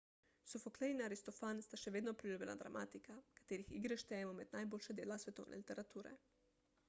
sofoklej in aristofan sta še vedno priljubljena dramatika katerih igre štejemo med najboljša dela svetovne literature